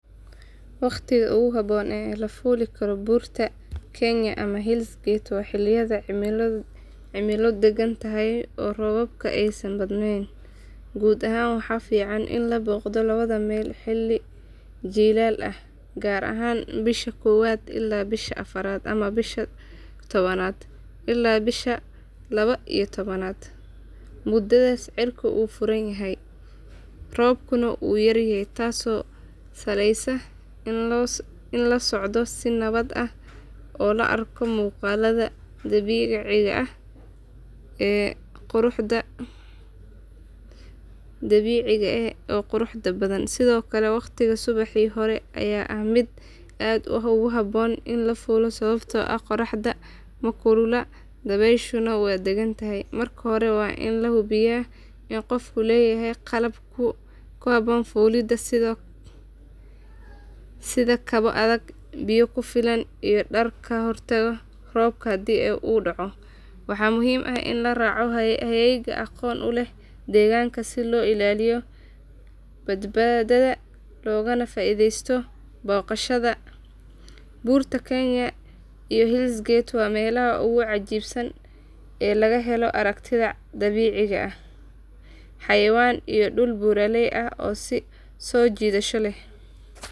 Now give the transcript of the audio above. Waqtiga ugu habboon ee la fuuli karo Buurta Kenya ama Hell's Gate waa xilliyada cimilo deggan tahay oo roobabka aysan badnayn. Guud ahaan waxaa fiican in la booqdo labada meel xilli jiilaal ah gaar ahaan bisha koowaad ilaa bisha afraad ama bisha tobnaad ilaa bisha laba iyo tobnaad. Muddadaas cirka wuu furan yahay, roobkuna wuu yaryahay taasoo sahleysa in la socdo si nabad ah oo la arko muuqaalada dabiiciga ah ee quruxda badan. Sidoo kale waqtiga subaxii hore ayaa ah mid aad ugu habboon in la fuulo sababtoo ah qorraxda ma kulula, dabayshuna waa degan tahay. Marka hore waa in la hubiyaa in qofku leeyahay qalab ku habboon fuulidda sida kabo adag, biyo ku filan, iyo dhar ka hortaga roobka haddii uu dhacdo. Waxaa muhiim ah in la raaco hagayaal aqoon u leh deegaanka si loo ilaaliyo badbaadada loogana faa iidaysto booqashada. Buurta Kenya iyo Hell's Gate waa meelaha ugu cajiibsan ee laga helo aragtiyo dabiici ah, xayawaan iyo dhul buuraley ah oo soo jiidasho leh.